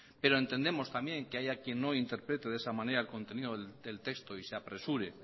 pero entendemos también que haya quién no interprete de esa manera el contenido del texto y se apresure